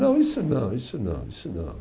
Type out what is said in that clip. Não, isso não, isso não, isso não.